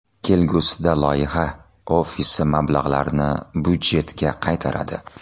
Kelgusida loyiha ofisi mablag‘larni budjetga qaytaradi.